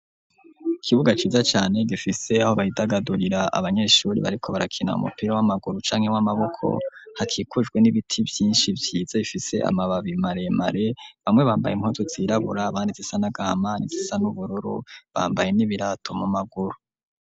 Ikibuga ciza cane gifise aho bidagadurira abanyeshure bariko barakina umupira w'amaguru canke w'amaboko hakikujwe n'ibiti vyinshi vyiza bifise amababi maremare bamwe bambaye impuzu zirabura abandi zisa nagahama ni zisa n'ubururu bambaye n'ibirato mu maguru.